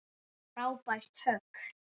Frábært högg.